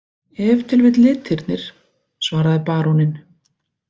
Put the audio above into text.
Ef til vill litirnir, svaraði baróninn.